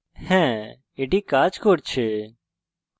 হ্যাঁ এটি কাজ করছে